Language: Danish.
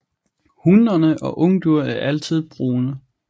Hunnerne og ungdyr er altid brune